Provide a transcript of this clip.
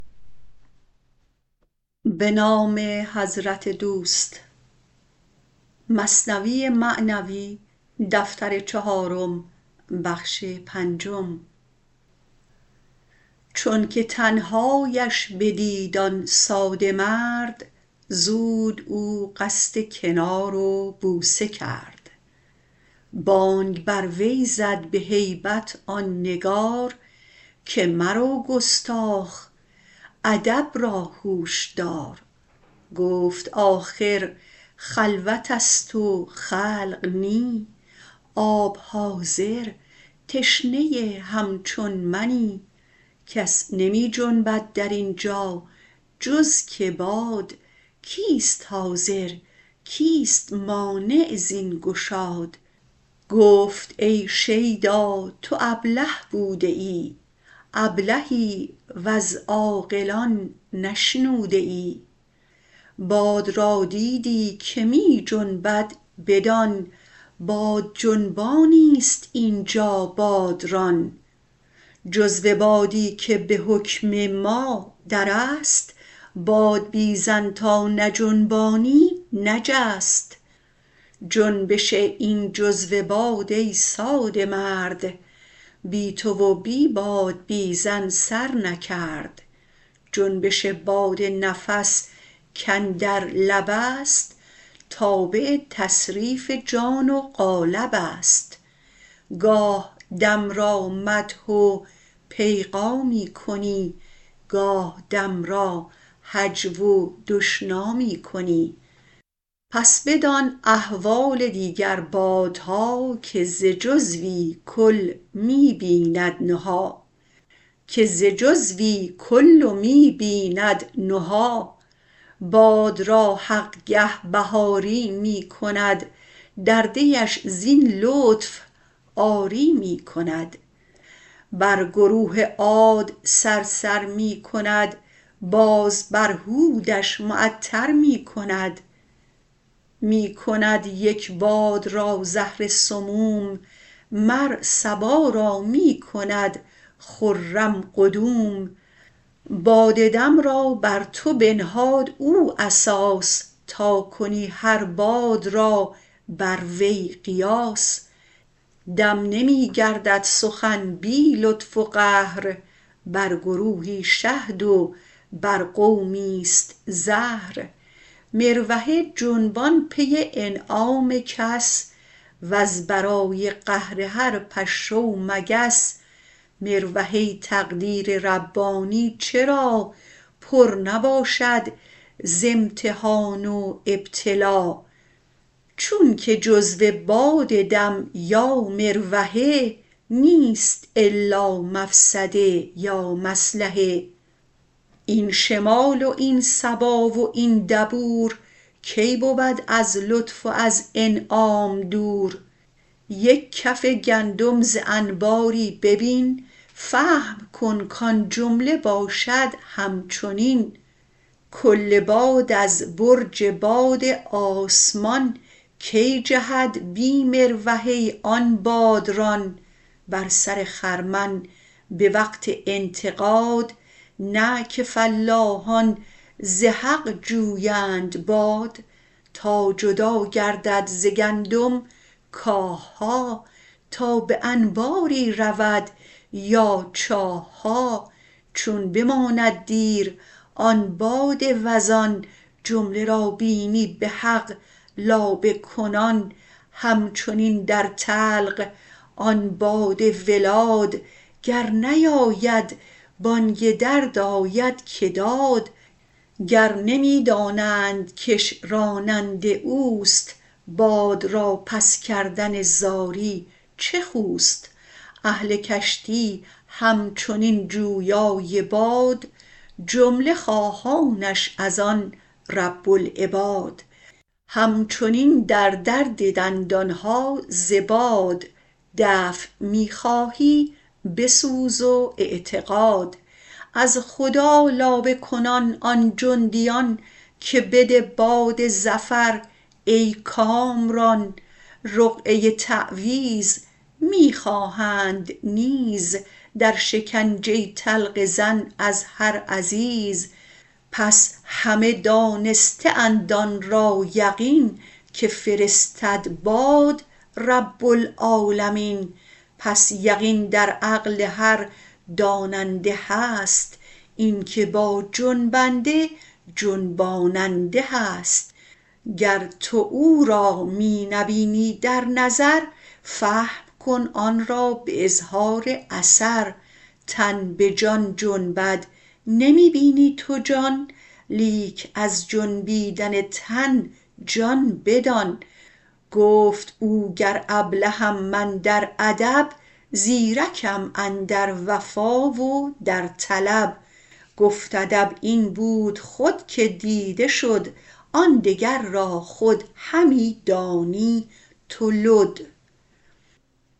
چونک تنهااش بدید آن ساده مرد زود او قصد کنار و بوسه کرد بانگ بر وی زد به هیبت آن نگار که مرو گستاخ ادب را هوش دار گفت آخر خلوتست و خلق نی آب حاضر تشنه هم چون منی کس نمی جنبد درینجا جز که باد کیست حاضر کیست مانع زین گشاد گفت ای شیدا تو ابله بوده ای ابلهی وز عاقلان نشنوده ای باد را دیدی که می جنبد بدان بادجنبانیست اینجا بادران جزو بادی که به حکم ما درست بادبیزن تا نجنبانی نجست جنبش این جزو باد ای ساده مرد بی تو و بی بادبیزن سر نکرد جنبش باد نفس کاندر لبست تابع تصریف جان و قالبست گاه دم را مدح و پیغامی کنی گاه دم را هجو و دشنامی کنی پس بدان احوال دیگر بادها که ز جزوی کل می بیند نهی باد را حق گه بهاری می کند در دیش زین لطف عاری می کند بر گروه عاد صرصر می کند باز بر هودش معطر می کند می کند یک باد را زهر سموم مر صبا را می کند خرم قدوم باد دم را بر تو بنهاد او اساس تا کنی هر باد را بر وی قیاس دم نمی گردد سخن بی لطف و قهر بر گروهی شهد و بر قومیست زهر مروحه جنبان پی انعام کس وز برای قهر هر پشه و مگس مروحه تقدیر ربانی چرا پر نباشد ز امتحان و ابتلا چونک جزو باد دم یا مروحه نیست الا مفسده یا مصلحه این شمال و این صبا و این دبور کی بود از لطف و از انعام دور یک کف گندم ز انباری ببین فهم کن کان جمله باشد همچنین کل باد از برج باد آسمان کی جهد بی مروحه آن بادران بر سر خرمن به وقت انتقاد نه که فلاحان ز حق جویند باد تا جدا گردد ز گندم کاهها تا به انباری رود یا چاهها چون بماند دیر آن باد وزان جمله را بینی به حق لابه کنان همچنین در طلق آن باد ولاد گر نیاید بانگ درد آید که داد گر نمی دانند کش راننده اوست باد را پس کردن زاری چه خوست اهل کشتی همچنین جویای باد جمله خواهانش از آن رب العباد همچنین در درد دندانها ز باد دفع می خواهی بسوز و اعتقاد از خدا لابه کنان آن جندیان که بده باد ظفر ای کامران رقعه تعویذ می خواهند نیز در شکنجه طلق زن از هر عزیز پس همه دانسته اند آن را یقین که فرستد باد رب العالمین پس یقین در عقل هر داننده هست اینک با جنبنده جنباننده هست گر تو او را می نبینی در نظر فهم کن آن را به اظهار اثر تن به جان جنبد نمی بینی تو جان لیک از جنبیدن تن جان بدان گفت او گر ابلهم من در ادب زیرکم اندر وفا و در طلب گفت ادب این بود خود که دیده شد آن دگر را خود همی دانی تو لد